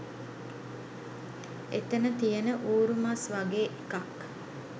එතන තියෙන ඌරු මස් වගේ එකක්